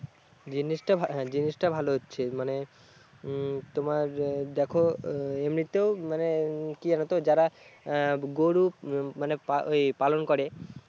জিনিসটা ভালো হচ্ছে মানে উম তোমার দেখো এমনিতেও মানে কি আর হতো যারা গরু উম মানে পালন করে